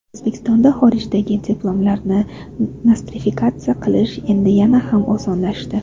O‘zbekistonda xorijdagi diplomlarni nostrifikatsiya qilish endi yana ham osonlashdi.